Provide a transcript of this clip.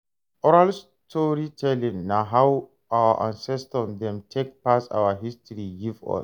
Oral storytelling na how our ancestor dem take pass our history give us.